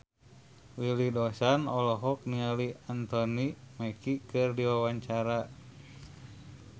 Willy Dozan olohok ningali Anthony Mackie keur diwawancara